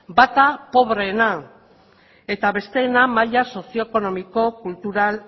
bata pobreena eta besteena maila sozioekonomiko kultural